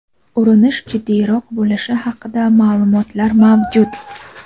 urinish jiddiyroq bo‘lishi haqida ma’lumotlar mavjud.